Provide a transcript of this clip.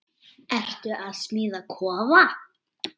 Ertu að smíða kofa?